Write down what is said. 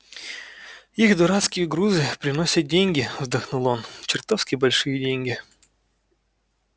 их дурацкие грузы приносят деньги вздохнул он чертовски большие деньги